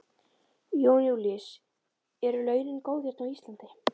Jón Júlíus: Eru launin góð hérna á Íslandi?